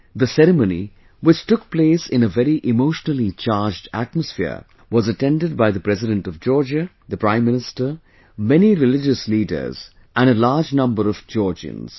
The ceremony, which took place in a very emotionally charged atmosphere, was attended by the President of Georgia, the Prime Minister, many religious leaders, and a large number of Georgians